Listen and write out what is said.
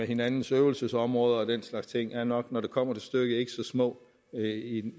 hinandens øvelsesområder og den slags ting er nok når det kommer til stykket ikke så små